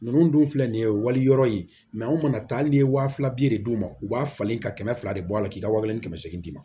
Ninnu dun filɛ nin ye wali yɔrɔ ye anw mana taa hali n'i ye waa fila de d'u ma u b'a falen ka kɛmɛ fila de bɔ a la k'i ka wa kelen ni kɛmɛ see ma